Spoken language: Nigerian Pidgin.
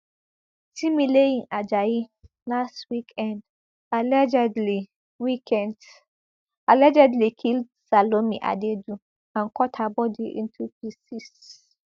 timileyin ajayi last weekend allegedly weekend allegedly kill salome adaidu and cut her body into pieces